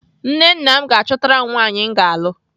Nne nna m ga-achọtara m nwaanyị m ga-alụ.